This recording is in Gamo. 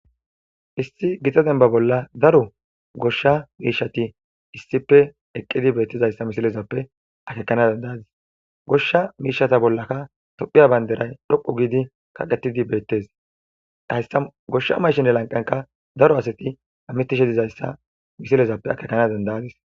Issi gita dembba bolla daro goshsha miishati issipe eqqidi beettizayssa misilezappe akekana dendaadis. goshsha miishata bollaka tophiya banderay dhoqu giidi kaqetidi beettes. tayssa goshsha mashinde lanqenka daro asati amitishe dizayssa misilezappe akekana dendaadis.